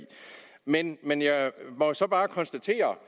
men men jeg må så bare konstatere